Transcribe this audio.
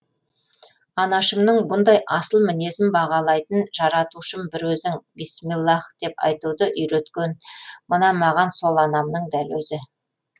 анашымның бұндай асыл мінезін бағалайтын жаратушым бір өзің бисмиллаһ деп айтуды үйреткен мына маған сол анамның дәл өзі